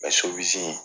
sobilisi in